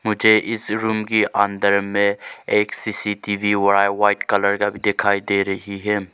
मुझे इस रूम की अंदर में एक सी_सी_टी_वी वा व्हाइट कलर का दिखाई दे रही है।